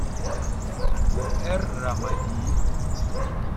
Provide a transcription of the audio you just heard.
эр рамади